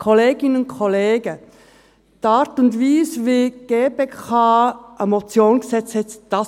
Kolleginnen und Kollegen, die Art und Weise, wie die GPK eine Motion gesetzt hat: